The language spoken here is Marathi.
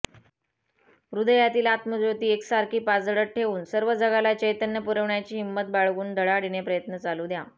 हृदयातील आत्मज्योती एकसारखी पाजळत ठेवून सर्व जगाला चैतन्य पुरविण्याची हिंमत बाळगून धडाडीने प्रयत्न चालू द्या